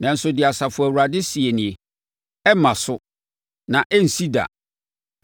Nanso deɛ Asafo Awurade seɛ nie: “ ‘Ɛremma so, na ɛrensi da,